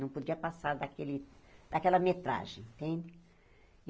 Não podia passar daquele daquela metragem, entende?